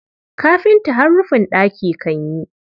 Kafinta har rufin ɗaki kan yi.